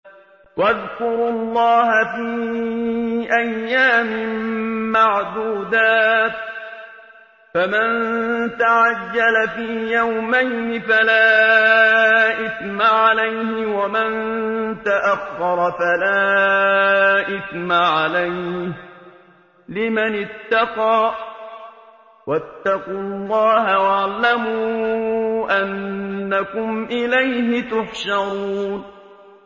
۞ وَاذْكُرُوا اللَّهَ فِي أَيَّامٍ مَّعْدُودَاتٍ ۚ فَمَن تَعَجَّلَ فِي يَوْمَيْنِ فَلَا إِثْمَ عَلَيْهِ وَمَن تَأَخَّرَ فَلَا إِثْمَ عَلَيْهِ ۚ لِمَنِ اتَّقَىٰ ۗ وَاتَّقُوا اللَّهَ وَاعْلَمُوا أَنَّكُمْ إِلَيْهِ تُحْشَرُونَ